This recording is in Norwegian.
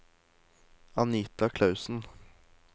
Anita Clausen